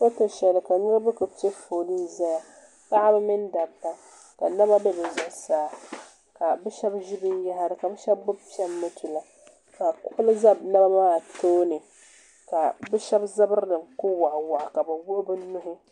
koni ka niriba koli pɛ ƒɔli n ʒɛya paɣba mini dabiba ka nɛma bɛ di zuɣ saa ka be shɛbi ʒɛ bɛniyahiri ka shɛb ka kogili ʒɛ be naba zuɣ ka be shɛbi zabiri kuli waɣiwaɣi ni be nuhi